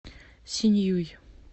синьюй